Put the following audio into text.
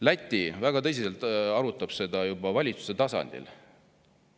Läti arutab seda väga tõsiselt juba valitsuse tasandil.